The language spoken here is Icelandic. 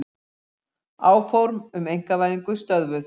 Áform um einkavæðingu stöðvuð